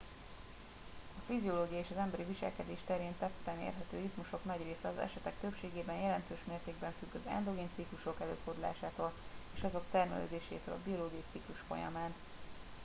a fiziológia és emberi viselkedés terén tetten érhető ritmusok nagy része az esetek többségében jelentős mértékben függ az endogén ciklusok előfordulásától és azok termelődésétől a biológiai ciklus folyamán